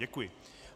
Děkuji.